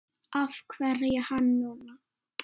Af hverju hann núna?